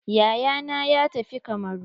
Yayana ya tafi kamaru.